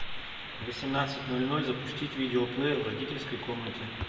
в восемнадцать ноль ноль запустить видеоплеер в родительской комнате